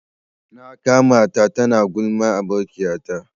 Na ƙamata ta na gulman abokiya ta.